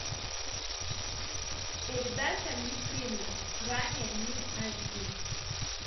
передача мир премиум ранее мир айч ди